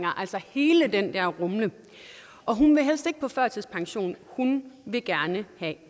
altså i hele den der rumle hun vil helst ikke på førtidspension hun vil gerne have